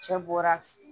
Cɛ bɔra f